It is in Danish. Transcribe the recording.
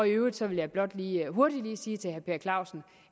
i øvrigt vil jeg blot lige hurtigt sige til herre per clausen